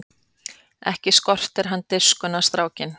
Ekki skortir hann dirfskuna strákinn!